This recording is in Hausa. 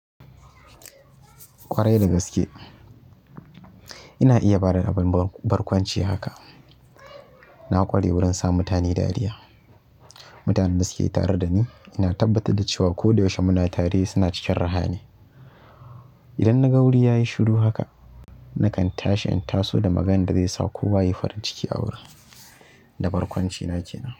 Ƙwarai da gaske ina iya bada abin barkwanci haka. Na ƙware wurin sa mutane dariya. Mutanen da suke tare da ni ina tabbatar da cewa ko da yaushe muna tare suna cikin raha ne. Idan naga wuri yayi shuru haka, nakan tashi in taso da maganan da zai sa kowa yayi farin ciki a wurin da barkwanci na kenan.